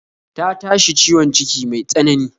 Ta tashi ciwon ciki mai tsanani